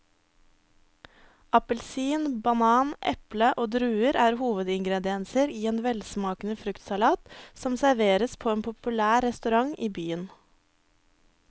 Appelsin, banan, eple og druer er hovedingredienser i en velsmakende fruktsalat som serveres på en populær restaurant i byen.